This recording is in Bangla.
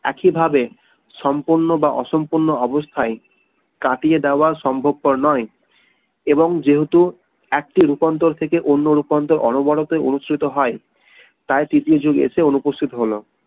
একই ভাবে সম্পূর্ন বা অসম্পূর্ণ অবস্থায় কাটিয়ে দেয়া সম্ভব পর নয় এবং যেহেতু একটি রূপান্তর থেকে অন্য রূপান্তর অনবরতই অনুষ্ঠিত হয় তাই তৃতীয় যুগ এসে অনুপস্থিত হলো